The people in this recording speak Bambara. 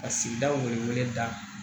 Ka sigidaw weleda